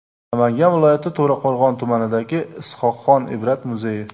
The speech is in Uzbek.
Namangan viloyati To‘raqo‘rg‘on tumanidagi Is’hoqxon Ibrat muzeyi.